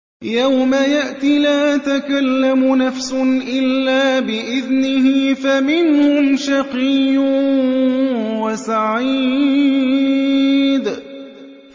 يَوْمَ يَأْتِ لَا تَكَلَّمُ نَفْسٌ إِلَّا بِإِذْنِهِ ۚ فَمِنْهُمْ شَقِيٌّ وَسَعِيدٌ